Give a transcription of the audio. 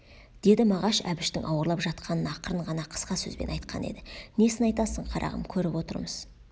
деді мағаш әбіштің ауырлап жатқанын ақырын ғана қысқа сөзбен айтқан еді несін айтасың қарағым көріп отырмыз